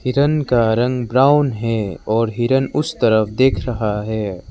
हिरण का रंग ब्राउन है और हिरण उस तरफ देख रहा है।